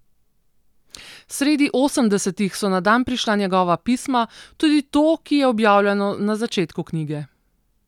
Sredi osemdesetih so na dan prišla njegova pisma, tudi to, ki je objavljeno na začetku knjige.